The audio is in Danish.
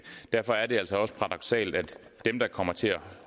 derfor er det altså også paradoksalt at dem der kommer til at